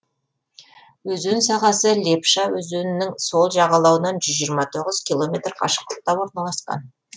өзен сағасы лепша өзенінің сол жағалауынан жүз жиырма тоғыз километр қашықтықта орналасқан